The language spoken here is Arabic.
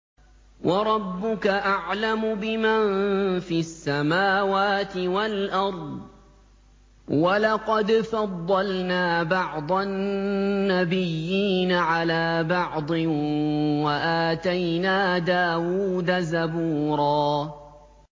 وَرَبُّكَ أَعْلَمُ بِمَن فِي السَّمَاوَاتِ وَالْأَرْضِ ۗ وَلَقَدْ فَضَّلْنَا بَعْضَ النَّبِيِّينَ عَلَىٰ بَعْضٍ ۖ وَآتَيْنَا دَاوُودَ زَبُورًا